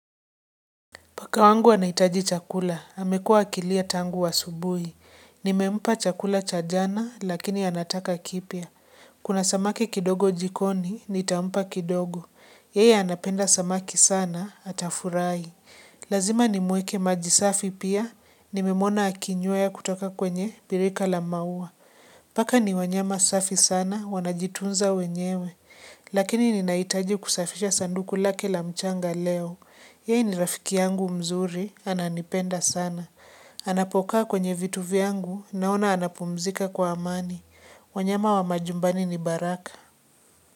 Paka wangu anahitaji chakula, amekuwa akilia tangu asubuhi Nimempa chakula cha jana, lakini anataka kipya Kuna samaki kidogo jikoni, nitampa kidogo. Yeye anapenda samaki sana, atafurahi Lazima nimuekee maji safi pia, nimemuona akinywea kutoka kwenye birika la maua. Paka ni wanyama safi sana, wanajitunza wenyewe. Lakini ninahitaji kusafisha sanduku lake la mchanga leo. Yaye ni rafiki yangu mzuri, ananipenda sana. Anapokaa kwenye vitu vyangu, naona anapumzika kwa amani. Wanyama wa majumbani ni baraka.